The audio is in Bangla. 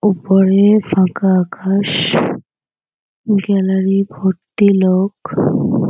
উপরে ফাঁকা আকাশ । গ্যালারি ভর্তি লোক।